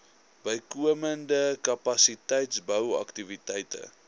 bykomende kapasiteitsbou aktiwiteite